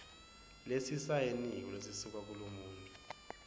lesisayiniwe lesisuka kulomuntfu